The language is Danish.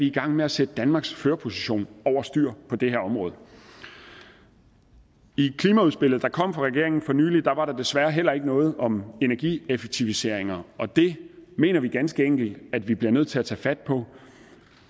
i gang med at sætte danmarks førerposition over styr på det her område i klimaudspillet der kom fra regeringen for nylig var der desværre heller ikke noget om energieffektiviseringer og det mener vi ganske enkelt at vi bliver nødt til at tage fat på